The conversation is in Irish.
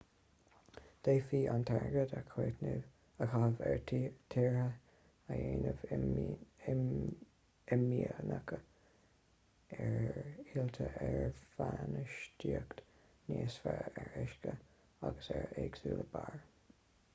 d'fhéadfaí an t-airgead a chaitheamh ar thithe a dhéanamh imdhíonach ar thuilte ar bhainistíocht níos fearr ar uisce agus ar éagsúlú barr